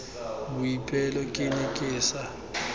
boipelo ke ne ke sa